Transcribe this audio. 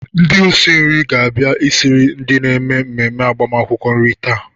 Ndị osi nri ga-abia esiri ndị na-eme mmemme agbamakwụkwọ nri taa.